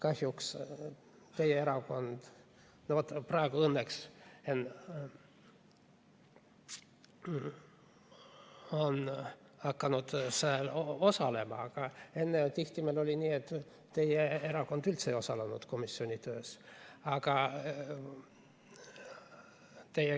Õnneks on teie erakond hakanud seal osalema, aga enne oli meil kahjuks tihti nii, et teie erakonna esindajad üldse ei osalenud komisjoni töös.